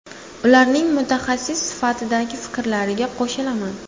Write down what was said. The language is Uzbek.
Ularning mutaxassis sifatidagi fikrlariga qo‘shilaman.